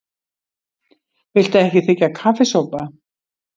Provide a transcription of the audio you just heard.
Viltu ekki þiggja kaffisopa?